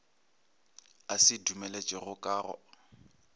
a se dumeletšego ka go